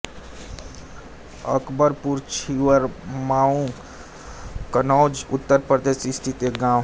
अकबरपुर छिबरामऊ कन्नौज उत्तर प्रदेश स्थित एक गाँव है